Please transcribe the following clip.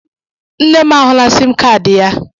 Nne m ahụla siim kaadị ya.